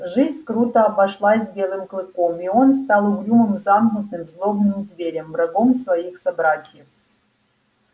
жизнь круто обошлась с белым клыком и он стал угрюмым замкнутым злобным зверем врагом своих собратьев